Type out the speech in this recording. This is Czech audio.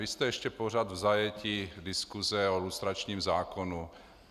Vy jste ještě pořád v zajetí diskuse o lustračním zákonu.